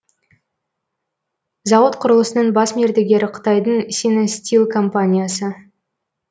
зауыт құрылысының бас мердігері қытайдың синестил компаниясы